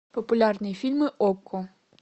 популярные фильмы окко